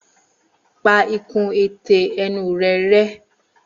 Pa ikùn ètè ẹnu rẹ rẹ́.